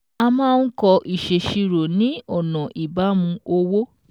A máa ń kọ ìṣèṣirò ni ọ̀nà ìbámu owó